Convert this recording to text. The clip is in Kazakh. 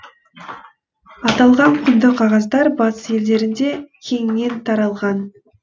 аталған құнды қағаздар батыс елдерінде кеңінен таралған